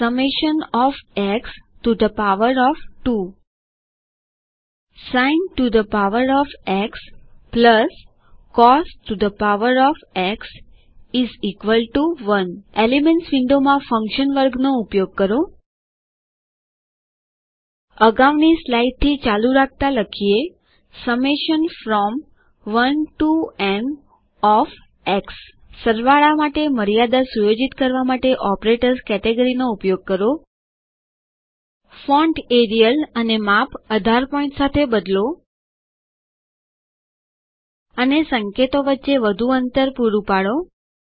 summation of x to the power of 2 sin to the power of x plus cos to the power of x 1 elements વિન્ડોમાં functions વર્ગનો ઉપયોગ કરો અગાઉની સ્લાઈડથી ચાલુ રાખતા લખીએ summation from 1 to n of x સરવાળા માટે મર્યાદા સુયોજિત કરવા માટે ઓપરેટર્સ કેટેગરી નો ઉપયોગ કરો ફોન્ટ એરિયલ અને માપ 18 પોઇન્ટ સાથે બદલો અને સંકેતો વચ્ચે વધુ અંતર પૂરું પાડો